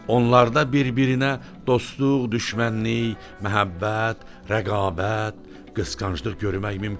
Onlarda bir-birinə dostluq, düşmənlik, məhəbbət, rəqabət, qısqanclıq görmək mümkündür.